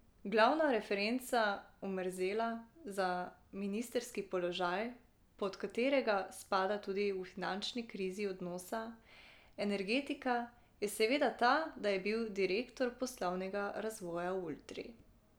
Glavna referenca Omerzela za ministrski položaj, pod katerega spada tudi v finančni krizi donosna energetika, je seveda ta, da je bil direktor poslovnega razvoja v Ultri.